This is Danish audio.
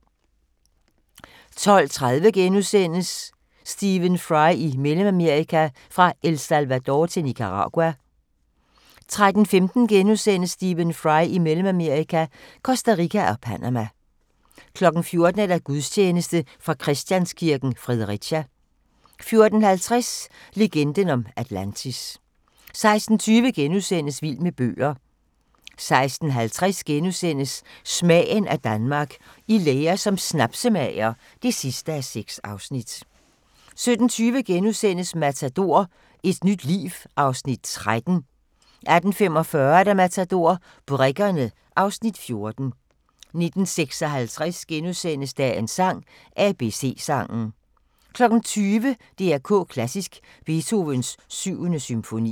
12:30: Stephen Fry i Mellemamerika – Fra El Salvador til Nicaragua * 13:15: Stephen Fry i Mellemamerika – Costa Rica og Panama * 14:00: Gudstjeneste fra Christianskirken, Fredericia 14:50: Legenden om Atlantis 16:20: Vild med bøger * 16:50: Smagen af Danmark – I lære som snapsemager (6:6)* 17:20: Matador - et nyt liv (Afs. 13)* 18:45: Matador – Brikkerne (Afs. 14) 19:56: Dagens sang: ABC-sangen * 20:00: DR K Klassisk: Beethovens 7. symfoni